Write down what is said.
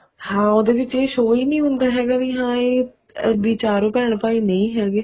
ਹਾਂ ਉਹਦੇ ਵਿੱਚ ਇਹ show ਹੀ ਨੀ ਹੁੰਦਾ ਵੀ ਹਾਂ ਇਹ ਵੀ ਚਾਰੋਂ ਭੈਣ ਭਾਈ ਨਹੀਂ ਹੈਗੇ